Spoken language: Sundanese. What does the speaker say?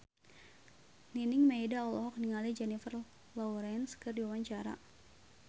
Nining Meida olohok ningali Jennifer Lawrence keur diwawancara